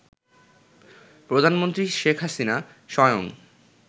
প্রধানমন্ত্রী শেখ হাসিনা স্বয়ং